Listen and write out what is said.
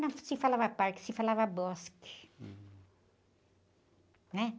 Não se falava parque, se falava bosque, né?